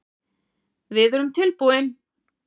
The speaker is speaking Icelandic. Við erum tilbúin